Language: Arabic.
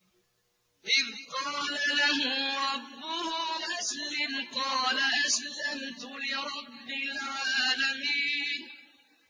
إِذْ قَالَ لَهُ رَبُّهُ أَسْلِمْ ۖ قَالَ أَسْلَمْتُ لِرَبِّ الْعَالَمِينَ